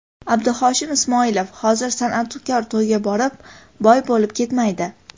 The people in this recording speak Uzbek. Abduhoshim Ismoilov: Hozir san’atkor to‘yga borib, boy bo‘lib ketmaydi .